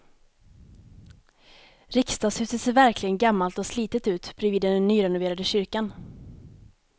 Riksdagshuset ser verkligen gammalt och slitet ut bredvid den nyrenoverade kyrkan.